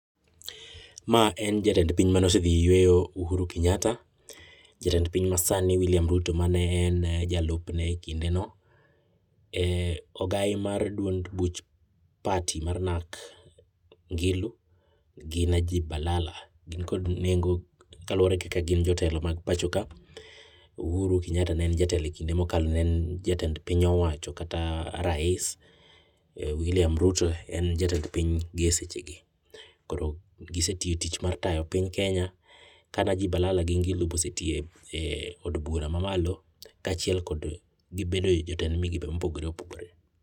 Mae en jatend piny mane osedhi yueyo uhuru kenyatta ,jatend piny masani Wiliam Ruto mane wen jalupne e kindeno ,ogai mar duond buch party mar Narc Ngilu gi Najib Balala gin kod nengo kaluwore kaka gin jotelo mag pachoka, uhuru kenyata ne en jatelo e kinde mokalo ne en jatend piny owacho kata Rais, William Ruto en jatend piny gi e seche gi koro gisetiyo tich mar tayo piny kenya ka Najib Balala gi Ngilu be osetiye e od bura mamalo ka achiel gibedo e jatend migepe mopogore opogore